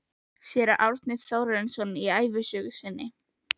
Séra Árni Þórarinsson í ævisögu sinni